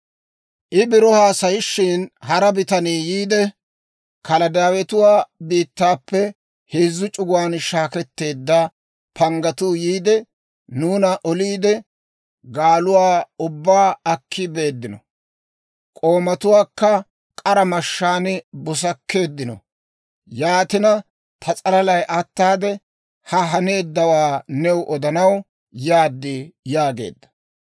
I biro haasayishin, hara bitanii yiide, «Kaladaawetuwaa biittaappe heezzu c'uguwaan shaakketteedda paannatuu yiide, nuuna oliide, gaaluwaa ubbaa akki beeddino; k'oomatuwaakka k'ara mashshaan busakkeeddino. Yaatina, ta s'alalay ataade, ha haneeddawaa new odanaw yaad» yaageedda.